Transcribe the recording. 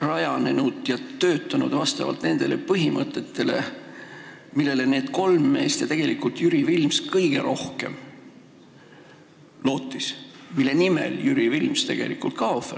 rajanenud nende kolme mehe põhimõtetel, mida Jüri Vilms tegelikult kõige rohkem lootis, ohverdades selle nimel ka oma elu.